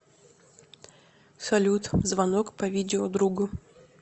салют звонок по видео другу